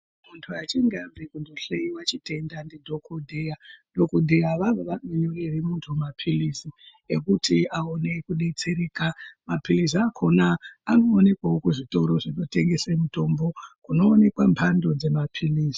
Muntu achinge abve kuhloyiwa chitenda ndidhogodheya. Dhogodheya avavo vanonyorere muntu maphilizi ekuti aone kudetsereka. Maphilizi akona anoonekwawo kuzvitoro zvinotengese mutombo, kunoonekwa mbando dzemaphilizi.